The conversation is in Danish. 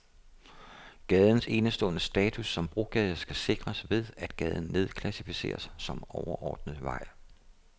Gadens enestående status som brogade skal sikres ved, at gaden nedklassificeres som overordnet vej.